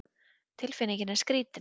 Tilfinningin er skrítin